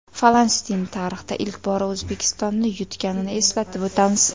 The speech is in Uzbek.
Falastin tarixda ilk bora O‘zbekistonni yutganini eslatib o‘tamiz.